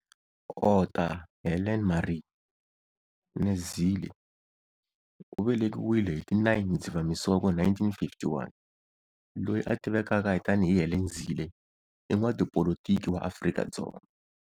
Otta Helene Maree née Zille u velekiwile hi ti 9 Dzivamisoko 1951, loyi a tivekaka tani hi Helen Zille, i n'watipolitiki wa Afrika-Dzonga.